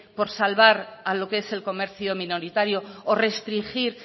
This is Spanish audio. por salvar a lo que es el comercio minoritario o restringir